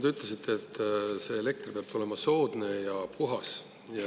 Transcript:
Te ütlesite, et elekter peab olema soodne ja puhas.